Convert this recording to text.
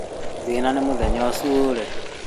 Thĩna nĩ mũthenya ũcio ũre